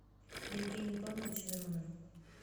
евгению павловичу миронову